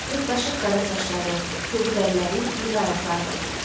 Pırtdaşıq qara saçları, kobud əlləri, iri ayaqları var idi.